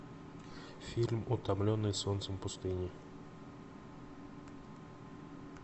фильм утомленные солнцем пустыни